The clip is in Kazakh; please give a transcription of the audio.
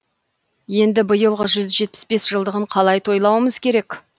енді биылғы жүз жетпіс бес жылдығын қалай тойлауымыз керек